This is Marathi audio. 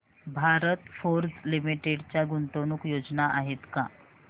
भारत फोर्ज लिमिटेड च्या गुंतवणूक योजना आहेत का